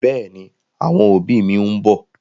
Bẹ́ẹ̀ni, àwọn òbí mi ń bọ̀.